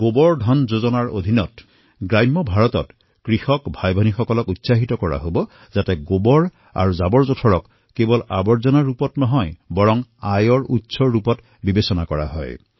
গোবৰ ধন যোজনাৰ অন্তৰ্গত গ্ৰামীণ ভাৰতত কৃষক ভগ্নী ভাতৃসকলক উৎসাহিত কৰা হব যে গোবৰ আৰু জাবৰ কেৱল বৰ্জ্য হিচাপে নহয় উপাৰ্জনৰ স্ৰোত হিচাপেও লক্ষ্য কৰক